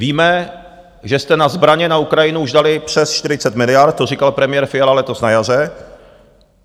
Víme, že jste na zbraně na Ukrajinu už dali přes 40 miliard, to říkal premiér Fiala letos na jaře.